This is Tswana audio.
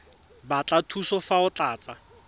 batla thuso fa o tlatsa